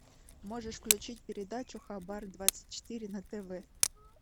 можешь включить передачу хабар двадцать четыре на тв